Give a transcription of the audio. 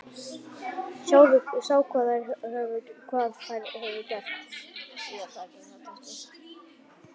Sá hvað þær höfðu gert.